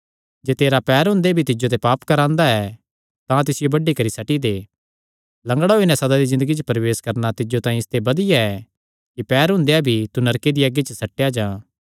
जे तेरा पैर हुंदे भी तिज्जो ते पाप करांदा ऐ तां तिसियो बड्डी करी सट्टी दे लंगड़ा होई नैं सदा दी ज़िन्दगी च प्रवेश करणा तिज्जो तांई इसते बधिया ऐ कि पैरां हुंदेया भी तू नरके दिया अग्गी च सट्टेया जां